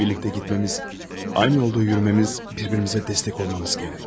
Birlikdə getməmiz, aynı yolda yürümemiz, bir-birimizə dəstək olmamız gərək.